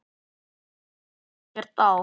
Mér liggur ekkert á.